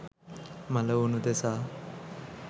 මළවුන් උදෙසා